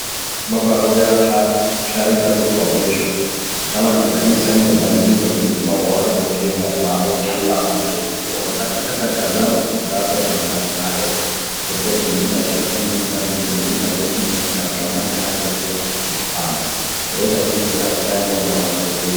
Babal royal hap sharitable foundation a tawanto a yii simbol banani ɗoni & ɗum babal waɗugo gengal ma bo talla on, ɗo ko on ɗaɓɓitata kazado nda babal ngal Haɗoo den bo be mɓinda telefon Namba be mbinda be email, ngam to a mari haje a ƴona ɓetan a fama, to reta fu himɓe on ngaɗa simbol ngal waɗugo gengal.